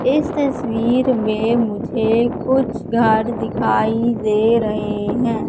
इस तस्वीर में मुझे कुछ घाट दिखाई दे रहे हैं।